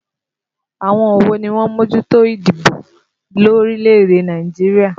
Àwọn wo ni ó ń mójútó ìdìbò lórílẹ̀ èdè Nàìjíríà?